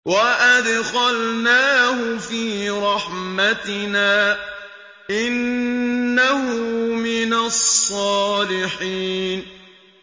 وَأَدْخَلْنَاهُ فِي رَحْمَتِنَا ۖ إِنَّهُ مِنَ الصَّالِحِينَ